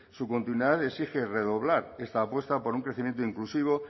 su continuidad exige redoblar esta apuesta por un crecimiento inclusivo